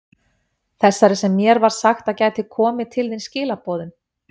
Þessari sem mér var sagt að gæti komið til þín skilaboðum?